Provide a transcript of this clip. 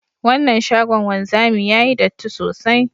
Wannan shagon wanzami yayi datti sosai